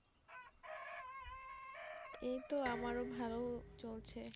এই তো আমার ও ভালো চলছে